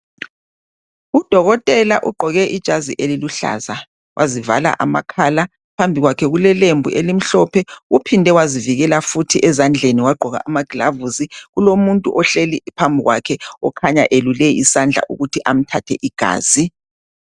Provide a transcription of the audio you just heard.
Udokotela ugqoke ijazi eliluhlaza wazivala amakhala phambi kwakhe kulelembu elimhlophe. Uphinde wazivikela futhi ezandleni wagqoka amagilavisi. Kulomuntu ohleli phambi kwakhe okhanye elule isandla ukuthi amthathe igazi.